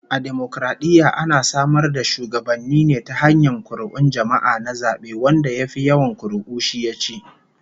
A dimokaradiyya ana samar da shugabanni ne ta hanyar kuri'un jama'a na zabe, wanda ya fi yawan kuri'u shi yaci